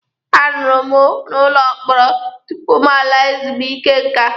A rụrụ m n'ụlọ mkpọrọ tupu m laa ezumike nká.